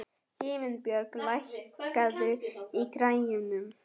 Himinbjörg, lækkaðu í græjunum.